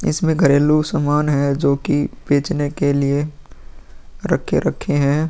इसमें घरेलू सामान है जो की बेचने के लिए रखे-रखे हैं।